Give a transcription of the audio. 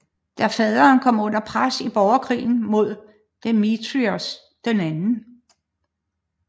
Da faderen kom under pres i borgerkrigen mod Demetrios 2